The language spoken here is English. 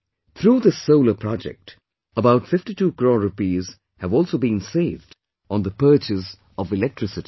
Through this solar project, about 52 crore rupees have also been saved on the purchase of electricity